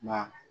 Nka